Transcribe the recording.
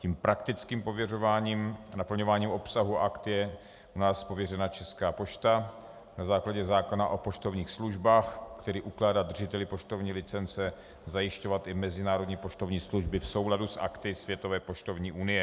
Tím praktickým pověřováním a naplňováním obsahu Akt je u nás pověřena Česká pošta na základě zákona o poštovních službách, který ukládá držiteli poštovní licence zajišťovat i mezinárodní poštovní služby v souladu s Akty Světové poštovní unie.